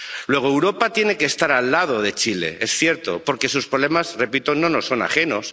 Luego Europa tiene que estar al lado de Chile, es cierto, porque sus problemas, repito, no nos son ajenos.